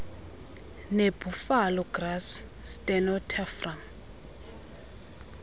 nebuffalo grass stenotaphrum